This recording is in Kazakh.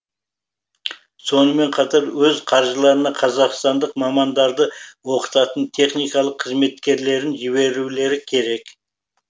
сонымен қатар өз қаржыларына қазақстандық мамандарды оқытатын техникалық қызметкерлерін жіберулері керек